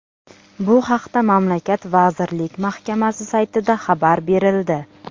Bu haqda mamlakat vazirlar mahkamasi saytida xabar berildi .